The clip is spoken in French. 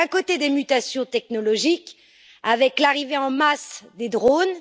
D'un côté, des mutations technologiques, avec l'arrivée en masse des drones.